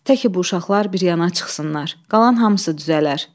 Təki bu uşaqlar bir yana çıxsınlar, qalan hamısı düzələr.